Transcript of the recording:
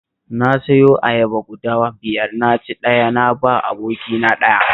Na siyo ayaba guda biyar na ci ɗaya na ba wa abokina ɗaya